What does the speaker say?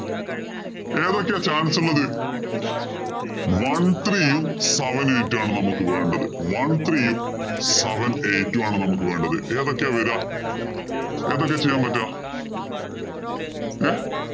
ഏതൊക്കെയാ chance ഉള്ളത്? One three യും, seven eight ഉമാണ് നമുക്ക് വേണ്ടത്. One three യും, seven eight ഉമാണ് നമുക്ക് വേണ്ടത്. ഏതൊക്കെയാ വരിക ഏതൊക്കെയാ ചെയ്യാന്‍ പറ്റുക? ഏർ